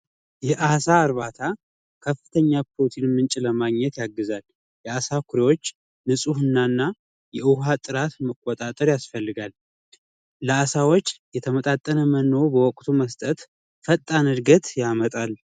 የአሳ እርባታ ከፍተኛ የፕሮቲን ምርት ለማግኘት ያግዛል። የአሳ ኩሬዎች ንፅህና እና ጥራት መቆጣጠር ያስፈልጋል። ለአሳዎች የተመጣጠነ መኖ በወቅቱ መስጠት ፈጣን እድገት ያመጣል።